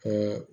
Ko